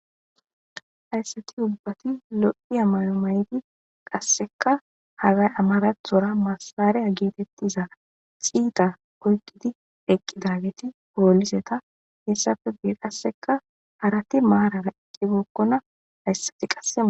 Hayisati ubbati loyiya mayo mayid qasseka amarathora massare getetiza xitta oyikidi eqidageti polista hesappe guye qassika harati marara eqibokona asti qaseeqibokona